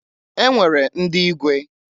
E nwere ndị igwe.